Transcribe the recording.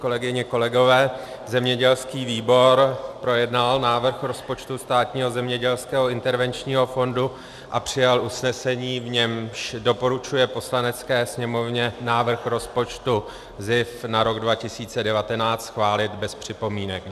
Kolegyně, kolegové, zemědělský výbor projednal návrh rozpočtu Státního zemědělského intervenčního fondu a přijal usnesení, v němž doporučuje Poslanecké sněmovně návrh rozpočtu SZIF na rok 2019 schválit bez připomínek.